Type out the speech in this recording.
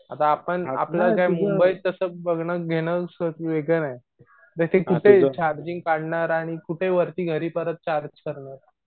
आता आपण मुंबईत तास बघणं घेणं वेगळाये. कुठे चार्जिंग काढणार आणि वरती परत घरी कुठे चार्ज करणार.